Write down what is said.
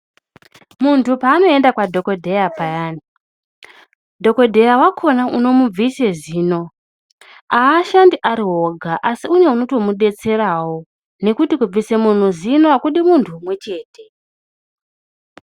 Muntu paanoenda kwadhokodheya paya, dhokodheya wacho unomubvisa zino aashandi arioga asi une anotomudetserawo ngekuti kubvisa muntu zino akudi muntu umwechete.